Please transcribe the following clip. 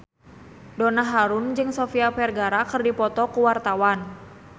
Donna Harun jeung Sofia Vergara keur dipoto ku wartawan